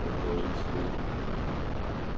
отговориться было